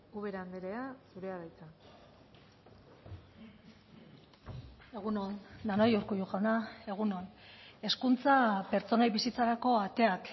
ubera andrea zurea da hitza egun on denoi urkullu jauna egun on hezkuntza pertsonei bizitzarako ateak